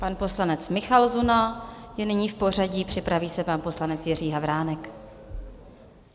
Pan poslanec Michal Zuna je nyní v pořadí, připraví se pan poslanec Jiří Havránek.